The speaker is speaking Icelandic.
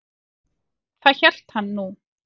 Það hélt hann nú.